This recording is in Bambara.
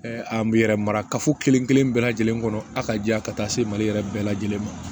an bɛ yɛrɛ mara kafo kelen kelen bɛɛ lajɛlen kɔnɔ a ka di yan ka taa se mali yɛrɛ bɛɛ lajɛlen ma